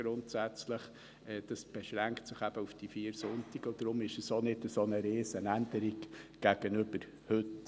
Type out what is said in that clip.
Dies beschränkt sich eben auf diese vier Sonntage, und deshalb ist es auch nicht so eine Riesenänderung gegenüber heute.